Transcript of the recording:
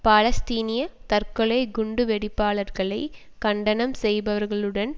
பாலஸ்தீனிய தற்கொலை குண்டு வெடிப்பாளர்களை கண்டனம் செய்பவர்களுடன்